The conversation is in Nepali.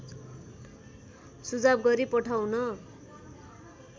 सुझाव गरी पठाउन